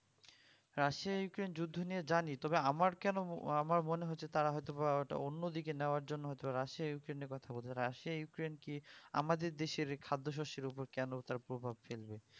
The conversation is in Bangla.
রাশিয়া ইউক্রেইন্ যুদ্ধ নিয়ে জানি তবে আমার কেন মনে আমার মনে হচ্ছে তারা হয়তো বা ঐটা অন্য দিকে নেওয়ার জন্য হয়তো রাশিয়া ইউক্রেইন্ কথা উঠছে রাশিয়া ইউক্রেইন্ কি আমাদের দেশের খাদ্য শস্যের ওপর কেন তার প্রভাব ফেলবে